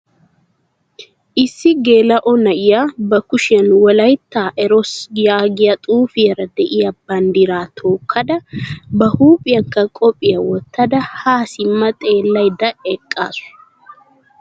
Issi gela" o na'iyaa ba kushiyaan Wolaytta eroos yaagiyaa xuufiyaara de'iyaa banddira tookkada ba huuphiyankka koppiyiyaa wottada ha simma xeellaydda eqqasu.